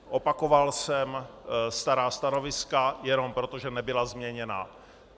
Opakoval jsem stará stanoviska jenom proto, že nebyla změněna.